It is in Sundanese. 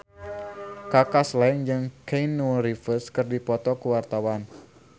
Kaka Slank jeung Keanu Reeves keur dipoto ku wartawan